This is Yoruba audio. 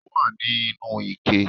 Ó wà ní inú ike